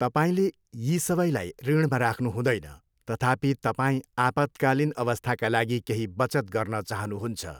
तपाईँले यी सबैलाई ऋणमा राख्नु हुँदैन, तथापि, तपाईँ आपतकालीन अवस्थाका लागि केही बचत गर्न चाहनुहुन्छ।